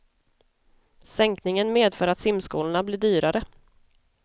Sänkningen medför att simskolorna blir dyrare.